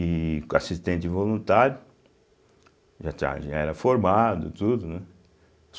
e co assistente voluntário, já já era formado e tudo, né?